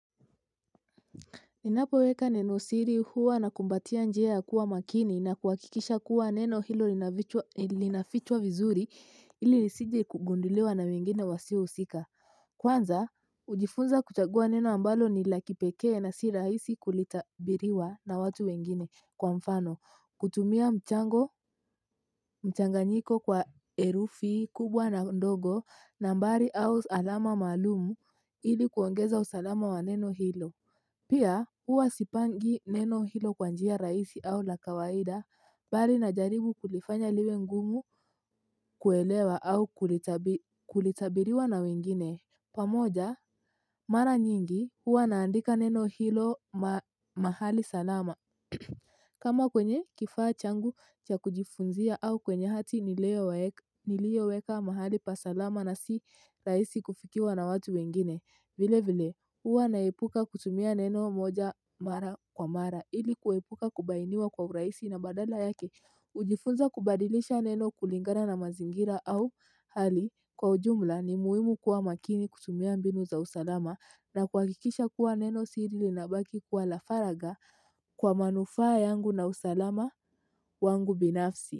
Ninapoweka nenosiri huwa nakumbatia njia ya kuwa makini na kuhakikisha kuwa neno hilo linafichwa vizuri ili isije kugunduliwa na wengine wasio husika. Kwanza, ujifunza kuchagua neno ambalo ni la kipekee na si rahisi kulitabiriwa na watu wengine. Kwa mfano, kutumia mchango mchanganyiko kwa herufi kubwa na ndogo nambari au alama maalumu ili kuongeza usalama wa neno hilo. Pia, huwa sipangi neno hilo kwa njia rahisi au la kawaida, bali najaribu kulifanya liwe ngumu kuelewa au kulitabiriwa na wengine. Pamoja, mara nyingi huwa naandika neno hilo mahali salama. Kama kwenye kifaa changu cha kujifunzia au kwenye hati niliyoweka mahali pa salama na si rahisi kufikiwa na watu wengine. Vile vile huwa naepuka kutumia neno moja mara kwa mara ili kuepuka kubainiwa kwa urahisi na badala yake hujifunza kubadilisha neno kulingana na mazingira au hali kwa ujumla ni muhimu kuwa makini kutumia mbinu za usalama na kuhakikisha kuwa nenosiri linabaki kwa la faraga kwa manufaa yangu na usalama wangu binafsi.